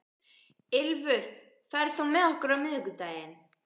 Ylfur, ferð þú með okkur á miðvikudaginn?